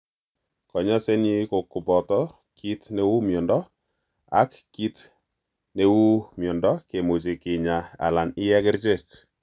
Kanyaisenyin ko kopoto kit neu miondo en ak kit ke kopiu miondo kimuche kinya alan iye kerchek.